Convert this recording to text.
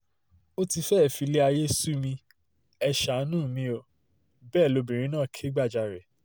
ó ti fẹ́ẹ́ filé ayé sú mi ẹ́ ṣàáánú mi ò bẹ́ẹ̀ lóbìnrin náà kẹ́gbajàre